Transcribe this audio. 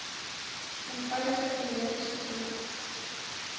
eenvoudige simmetriese vorms